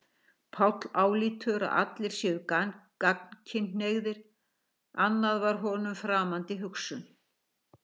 Páll álítur að allir séu gagnkynhneigðir, annað var honum framandi hugsun.